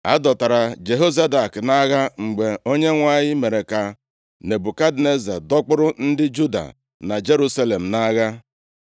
A dọtara Jehozadak nʼagha mgbe Onyenwe anyị mere ka Nebukadneza dọkpụrụ ndị Juda na Jerusalem nʼagha.